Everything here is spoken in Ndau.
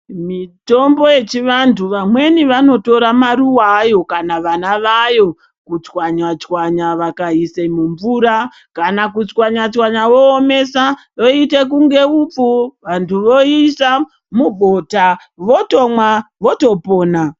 Mitombo yechivanthu vamweni vanotora maruva ayo kana vana vayo kuchwanya chwanya vakaise mumvura kana kuchwanya chwanya voomesa zvoite kunge hupfu vanthu voise mubota votomwa votopona.